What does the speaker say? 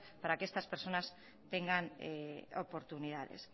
para que estas personas tengan oportunidades